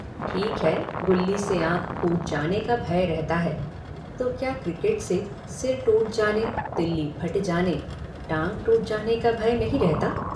ठीक है गुल्ली से आँख फ़ूट जाने का भय रहता है तो क्या क्रिकेट से सिर टूट जाने तिल्ली फट जाने टाँग टूट जाने का भय नहीं रहता।